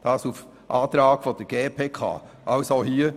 Dies ist auf Antrag der GPK geschehen.